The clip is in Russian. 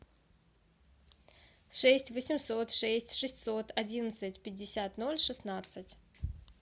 шесть восемьсот шесть шестьсот одиннадцать пятьдесят ноль шестнадцать